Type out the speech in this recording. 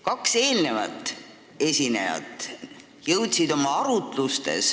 Kaks eelnevat esinejat jõudsid oma arutlustes